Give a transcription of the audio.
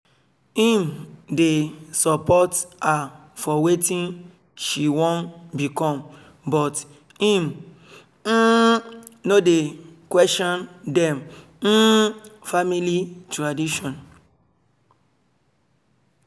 im dey support her for wetin she wan become but im um no dey question dem um family tradition